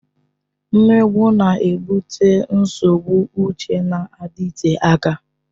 Mmegbu na-ebute nsogbu uche na-adịte aka.